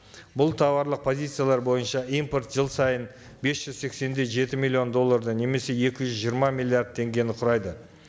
бұл тауарлық позициялар бойынша импорт жыл сайын бес жүз сексен де жеті миллион долларды немесе екі жүз жиырма миллиард теңгені құрайды